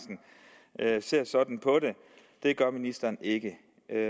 herre ser sådan på det det gør ministeren ikke